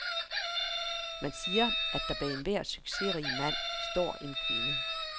Man siger, at der bag enhver succesrig mand står en kvinde.